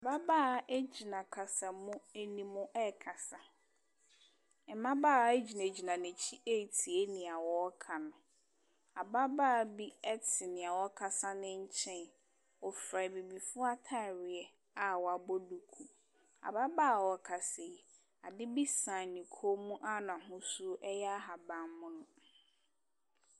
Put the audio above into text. Mmabaawa gyina kasamu anim rekasa. Mmabaawa yi gyinagyina n'akyi retie deɛ wɔreka no. Ababaawa bi te deɛ ɔrekasa no nkyɛn. Ɔfira Abibifoɔ atadeɛ a wabɔ duku. Ababaawa a ɔrekasa yi. Adeɛ bi sɛn ne kɔn mu a n'ahosuo yɛ ahabammono.